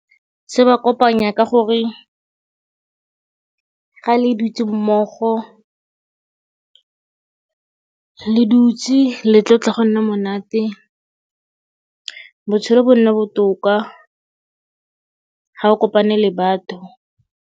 Se ba kopanya ka gore ga le dutse mmogo le dutse le tlotla go nna monate, botshelo bo nna botoka ga o kopane le batho.